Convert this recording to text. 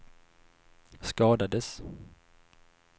skadades